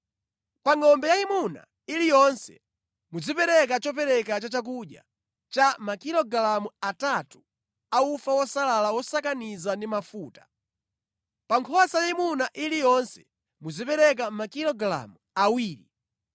Pa ngʼombe yayimuna iliyonse, muzipereka chopereka cha chakudya cha makilogalamu atatu a ufa wosalala wosakaniza ndi mafuta. Pa nkhosa yayimuna iliyonse muzipereka makilogalamu awiri.